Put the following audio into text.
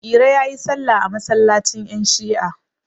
iro ya yi sallam a masallacin yanShi'a